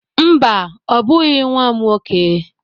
Mba, ọ bụghị nwa m nwoke.